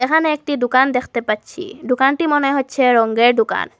এখানে একটি দোকান দেখতে পাচ্ছি দোকানটি মনে হচ্ছে রঙ্গের দোকান।